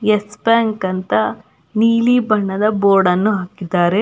S Bank ಅಂತ ನೀಲಿ ಬಣ್ಣದ ಬೋರ್ಡನ್ನು ಹಾಕಿದ್ದಾರೆ.